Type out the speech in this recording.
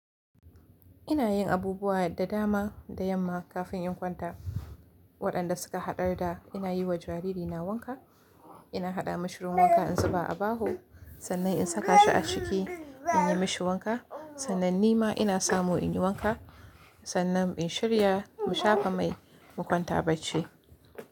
Ina yin abubuwa da dama da yamma kafin in kwanta. Waɗanda suka haɗar da ina yi wa jaririna wanka, ina haɗa mashirin wanka in zuba a baho, sannan in saka shi a ciki in yi mashi wanka, sannan ni ma ina samo in yi wanka, sannan in shirya mu shafa mai mu kwanta bacci.